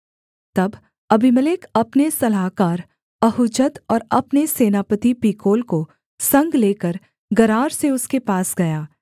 तब अबीमेलेक अपने सलाहकार अहुज्जत और अपने सेनापति पीकोल को संग लेकर गरार से उसके पास गया